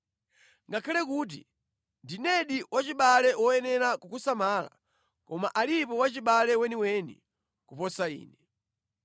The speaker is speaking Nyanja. Ngakhale kuti ndinedi wachibale woyenera kukusamala, koma alipo wachibale weniweni kuposa ine.